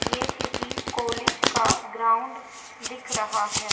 ये किसी कॉलेज का ग्राउंड दिख रहा है।